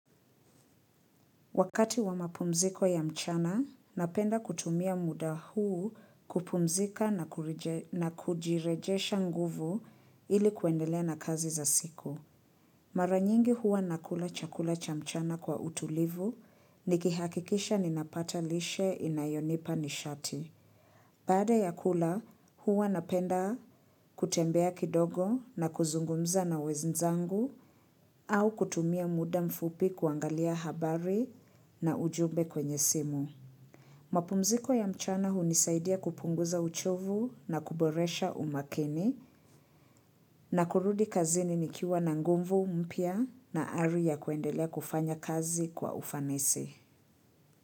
Wakati wa mapumziko ya mchana, napenda kutumia muda huu kupumzika na kujirejesha nguvu ili kuendelea na kazi za siku. Maranyingi hua nakula chakula cha mchana kwa utulivu, nikihakikisha ninapata lishe inayonipa nishati. Baada ya kula, huwa napenda kutembea kidogo na kuzungumza na wenzangu au kutumia muda mfupi kuangalia habari na ujumbe kwenye simu. Mapumziko ya mchana hunisaidia kupunguza uchovu na kuboresha umakini na kurudi kazini nikiwa na nguvu mpya na ari ya kuendelea kufanya kazi kwa ufanisi.